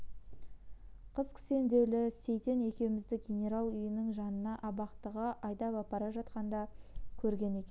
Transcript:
қыз кісендеулі сейтен екеумізді генерал үйінің жанынан абақтыға айдап апара жатқанда көрген екен